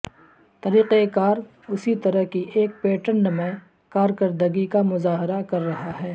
طریقہ کار اسی طرح کی ایک پیٹرن میں کارکردگی کا مظاہرہ کر رہا ہے